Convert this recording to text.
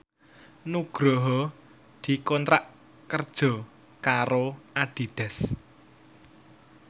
Nugroho dikontrak kerja karo Adidas